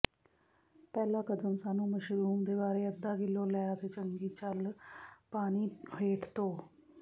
ਪਹਿਲਾ ਕਦਮ ਸਾਨੂੰ ਮਸ਼ਰੂਮ ਦੇ ਬਾਰੇ ਅੱਧਾ ਕਿਲੋ ਲੈ ਅਤੇ ਚੰਗੀ ਚੱਲ ਪਾਣੀ ਹੇਠ ਧੋ